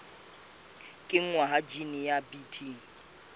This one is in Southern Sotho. kenngwa ha jine ya bt